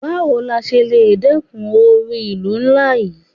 Báwo la ṣe le dẹ́kun oru ìlú ńlá yí?